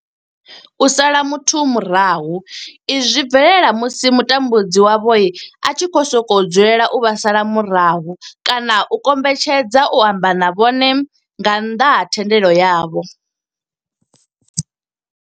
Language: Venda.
U sala muthu murahu, izwi zwi bvelela musi mutambudzi wavho a tshi sokou dzulela u vha sala murahu kana a kombetshedza u amba na vhone nga nnḓa ha thendelo yavho.